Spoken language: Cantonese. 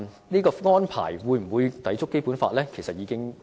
此安排會否抵觸《基本法》？